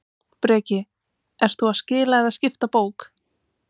Breki: Ert þú að skila eða skipta bók?